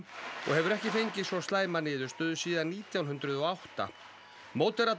og hefur ekki fengið svo slæma niðurstöðu síðan nítján hundruð og átta